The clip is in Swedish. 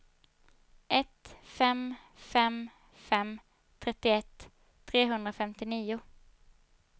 ett fem fem fem trettioett trehundrafemtionio